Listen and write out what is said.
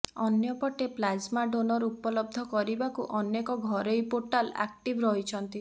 ଅନ୍ୟପଟେ plasma donor ଉପଲବ୍ଧ କରିବାକୁ ଅନେକ ଘରୋଇ ପୋର୍ଟାଲ ଆକ୍ଟିଭ୍ ରହିଛନ୍ତି